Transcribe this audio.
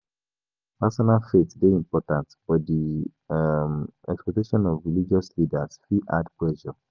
Personal faith dey important, but di um expectation of religious leaders fit add pressure.